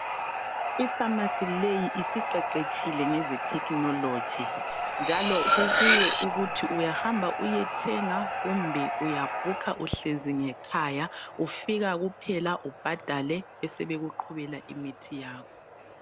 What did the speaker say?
Ipharmacy leyi isiqeqetshile ngeze technology. Njalo kukuwe ukuthi uyahamba uyethenga kumbe uyabhukha uhlezi ngekhaya. Ufika kuphela ubhadale besebekuqhubela imithi yakho.